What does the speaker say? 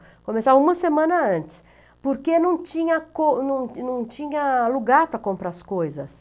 Começava uma semana antes, porque não tinha com não não tinha lugar para comprar as coisas.